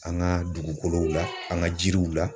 An ka dugukolow la an ka jiriw la